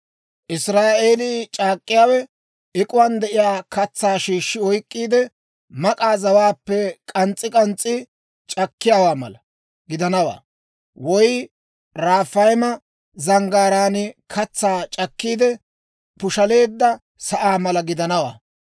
Israa'eelii c'akkiyaawe ek'uwaan de'iyaa katsaa shiishshi oyk'k'iide, mak'a zawaappe k'ans's'i k'ans's'i c'akkiyaawaa mala gidanawaa; woy Rafayma zanggaaraan katsaa c'akkiide, pushaleedda sa'aa mala gidanawaa.